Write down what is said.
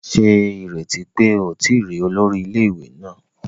Ṣe ireti pe o ti ri olori ile-iwe naa